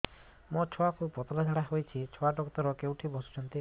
ମୋ ଛୁଆକୁ ପତଳା ଝାଡ଼ା ହେଉଛି ଛୁଆ ଡକ୍ଟର କେଉଁଠି ବସୁଛନ୍ତି